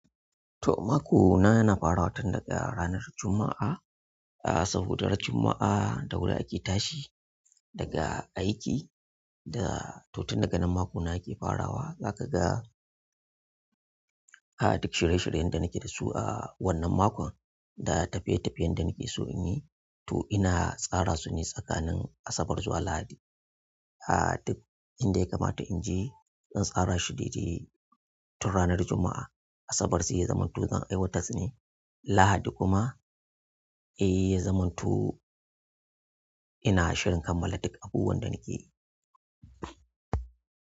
To, mako na yana farawa tun daga ranar Juma'a. A saboda ran Juma'a da wuri ake tashi daga aiki da to tun daga nan mako na yake farawa. Zaka ga, a duk shirye-shiryen da nake da su a wannan makon da tafiye-tafiyen da nake so in yi to ina tsara su ne tsakanin Asabar zuwa Lahadi. A duk inda ya kamata in je, zan tsara shi daidai tun ranar Juma'a. Asabar sai ya zamanto zan aiwatar ne Lahadi kuma, eh ya zamanto ina shirin kammala duk abubuwan da nike yi.